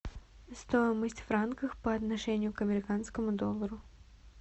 стоимость франков по отношению к американскому доллару